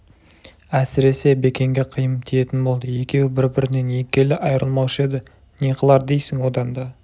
әсіресе бекенге қиын тиетін болды екеуі бір-бірінен екі елі айырылмаушы еді не қылар дейсің одан да